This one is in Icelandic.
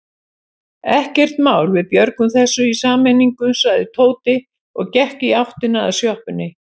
Ekkert mál, við björgum þessu í sameiningu sagði Tóti og gekk í áttina að sjoppunni.